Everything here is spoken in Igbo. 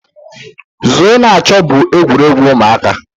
Zoo na-achọ bụ egwuregwu ụmụaka.